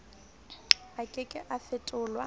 a ke ke a fetolwa